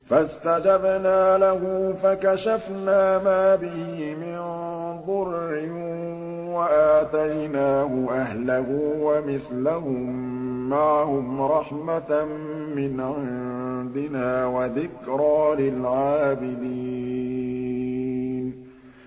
فَاسْتَجَبْنَا لَهُ فَكَشَفْنَا مَا بِهِ مِن ضُرٍّ ۖ وَآتَيْنَاهُ أَهْلَهُ وَمِثْلَهُم مَّعَهُمْ رَحْمَةً مِّنْ عِندِنَا وَذِكْرَىٰ لِلْعَابِدِينَ